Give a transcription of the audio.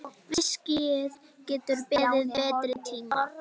Viskíið getur beðið betri tíma.